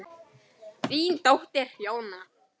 Þín dóttir Jóna.